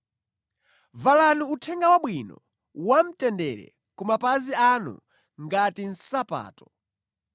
Valani Uthenga Wabwino wamtendere ku mapazi anu ngati nsapato.